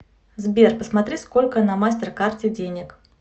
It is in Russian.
сбер посмотри сколько на мастер карте денег